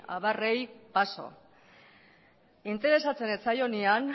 abarrei paso interesatzen ez zaionean